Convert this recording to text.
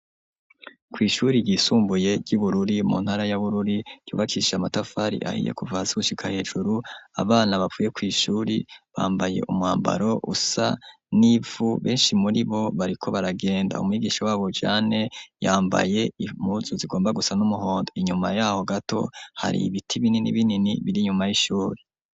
Kwishuri ryisumbuye ryi Bururi mu ntara ya Bururi ryubakishije amatafari ahiye kuva hasi gushika hejuru Abana bavuye kwishuri bambaye umwambaro usa n'ivu benshi muri bo bariko baragenda umwigisha wabo jane yambaye impuzu zigomba gusa n'umuhondo inyuma yaho gato hari ibiti binini binini biri nyuma y'ishuri.